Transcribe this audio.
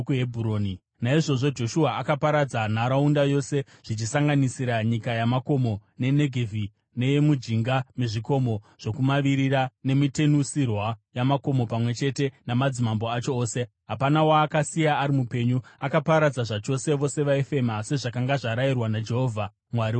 Naizvozvo Joshua akaparadza nharaunda yose, zvichisanganisira nyika yamakomo, neNegevhi, neyemujinga mezvikomo zvokumavirira nemitenusirwa yamakomo pamwe chete namadzimambo acho ose. Hapana waakasiya ari mupenyu. Akaparadza zvachose vose vaifema, sezvakanga zvarayirwa naJehovha, Mwari waIsraeri.